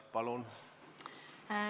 Palun!